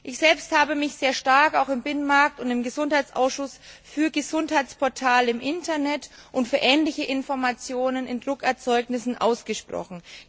Ich selbst habe mich sehr stark auch im Binnenmarkt und im Gesundheitsausschuss für Gesundheitsportale im Internet und für ähnliche Informationen in Druckerzeugnissen ausgesprochen.